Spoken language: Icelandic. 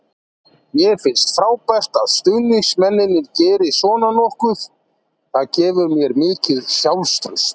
Mér finnst frábært að stuðningsmennirnir geri svona nokkuð, það gefur mér mikið sjálfstraust.